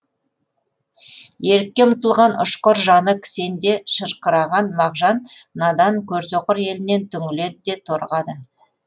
ерікке ұмтылған ұшқыр жаны кісенде шырқыраған мағжан надан көрсөқыр елінен түңіледі де торығады